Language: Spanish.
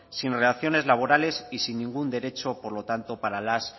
sin relaciones laborales y sin ningún derecho por lo tanto para las